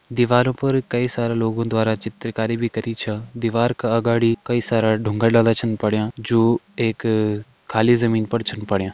दीवारों पर कई सारा लोगों द्वारा चित्रकारी भी करी छ दीवार का अगाड़ी कई सारा डुंगा डाला छन पड़यां जो एक खाली जमीन पर छीन पड़यां।